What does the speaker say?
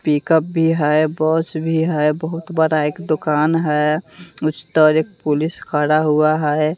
Pickup भी है bus भी है बहुत बड़ा एक दुकान है उस तर एक पुलिस खड़ा हुआ है।